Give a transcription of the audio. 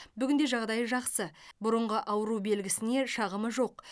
бүгінде жағдайы жақсы бұрынғы ауру белгісіне шағымы жоқ